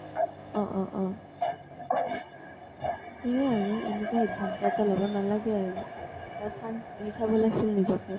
অ অ অ । সেয়ে আৰু। এনেকুৱা এটা সিধান্ত লব নালাগে আৰু। এটা chance দি চাব লাগিছিল নিজকে